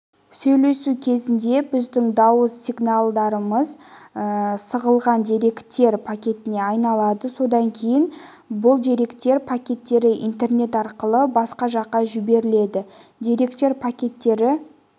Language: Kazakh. сөйлесу кезінде біздің дауыс сигналдарымыз сығылған деректер пакетіне айналады содан кейін бұл деректер пакеттері интернет арқылы басқа жаққа жіберіледі деректер пакеттері